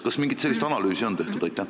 Kas mingit sellist analüüsi on tehtud?